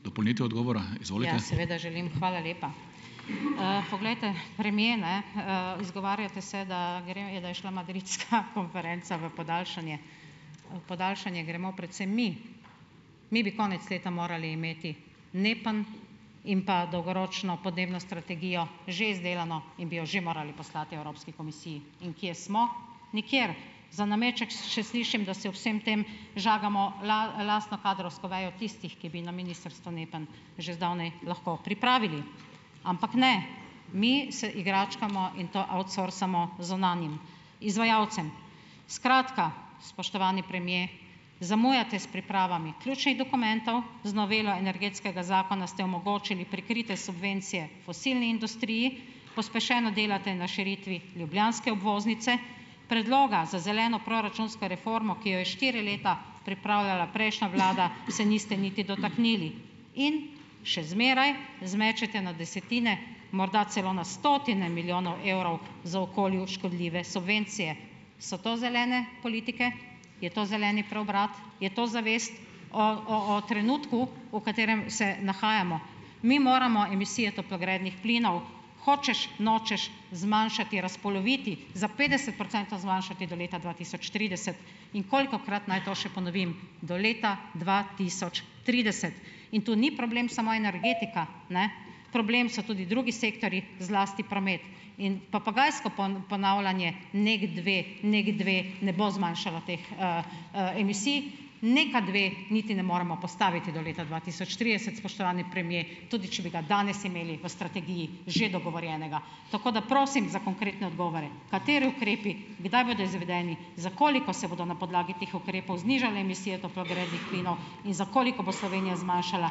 Ja, seveda želim. Hvala lepa. poglejte, premier, ne. izgovarjate se, da gre, da je šla madridska konferenca v podaljšanje. podaljšanje gremo predvsem mi - mi bi konec leta morali imeti Nepan in pa dolgoročno podnebno strategijo že izdelano in bi jo že morali poslati Evropski komisiji. In kje smo? Nikjer. Za nameček še slišim, da si ob vsem tem žagamo lastno kadrovsko vejo tistih, ki bi na ministrstvu Nepan že zdavnaj lahko pripravili. Ampak ne - mi se igračkamo in to outsourcamo zunanjim izvajalcem. Skratka, spoštovani premier, zamujate s pripravami ključnih dokumentov, z novelo energetskega zakona ste omogočili prikrite subvencije fosilni industriji. Pospešeno delate na širitvi ljubljanske obvoznice. Predloga za zeleno proračunsko reformo, ki jo je štiri leta pripravljala prejšnja vlada, se niste niti dotaknili. In še zmeraj zmečete na desetine, morda celo na stotine milijonov evrov za okolju škodljive subvencije. So to zelene politike? Je to zeleni preobrat? Je to zavest o trenutku, v katerem se nahajamo? Mi moramo emisije toplogrednih plinov hočeš nočeš zmanjšati, razpoloviti za petdeset procentov zmanjšati do leta dva tisoč trideset. In kolikokrat naj to še ponovim? Do leta dva tisoč trideset. In tu ni problem samo energetika, ne. Problem so tudi drugi sektorji, zlasti promet. In papagajsko ponavljanje "NEKdve, NEKdve", ne bo zmanjšalo teh, emisij. NEK-adve niti ne moremo postaviti do leta dva tisoč trideset, spoštovani premier, tudi če bi ga danes imeli v strategiji že dogovorjenega. Tako da prosim za konkretne odgovore. Kateri ukrepi, kdaj bodo izvedeni, za koliko se bodo na podlagi teh ukrepov znižale emisije toplogrednih plinov in za koliko bo Slovenija zmanjšala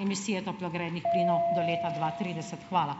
emisije toplogrednih plinov do leta dva trideset? Hvala.